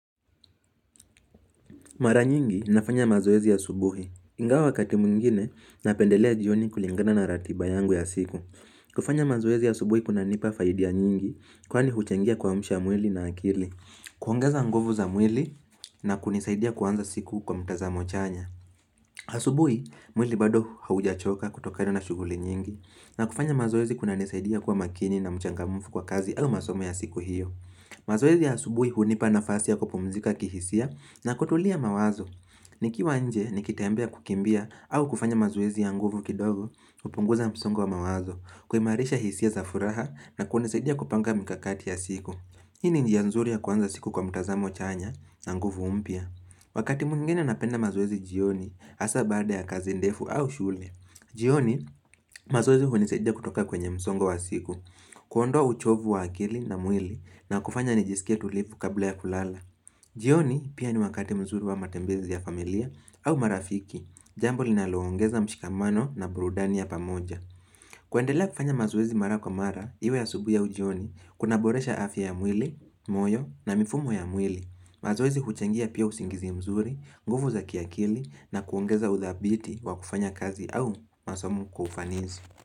Mara nyingi nafanya mazoezi asubuhi. Ingawa wakati mwingine napendelea jioni kulingana na ratiba yangu ya siku. Kufanya mazoezi asubuhi kuna nipa faidia nyingi kwani huchangia kuamsha mwili na akili. Kuongeza nguvu za mwili na kunisaidia kuanza siku kwa mtazamo chanya. Asubuhi, mwili bado haujachoka kutokana na shuguli nyingi. Na kufanya mazoezi kuna nisaidia kuwa makini na mchangamufu kwa kazi au masomo ya siku hiyo. Mazoezi ya asubuhi hunipa nafasi ya kupumzika kihisia na kutulia mawazo nikiwa nje nikitembea kukimbia au kufanya mazoezi ya nguvu kidogo upunguza msongo wa mawazo kuimarisha hisia za furaha na kunisaidia kupanga mikakati ya siku Hii ni njia nzuri ya kuanza siku kwa mtazamo chanya na nguvu mpya Wakati mwingine napenda mazoezi jioni hasa baada ya kazi ndefu au shule jioni mazoezi hunisaidia kutoka kwenye msongo wa siku kuondoa uchovu wa akili na mwili na kufanya nijisikie tulivu kabla ya kulala jioni pia ni wakati mzuri wa matembezi ya familia au marafiki Jambo linaloongeza mshikamano na burudani ya pamoja kuendelea kufanya mazoezi mara kwa mara iwe asubui au ujioni Kuna boresha afya ya mwili, moyo na mifumo ya mwili mazoezi huchangia pia usingizi mzuri, nguvu za kiakili na kuongeza udhabiti wa kufanya kazi au masomo kwa ufanizi.